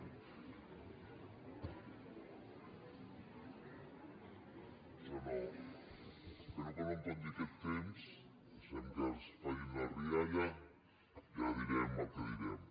espero que no em compti aquest temps deixem que facin la rialla ja direm el que direm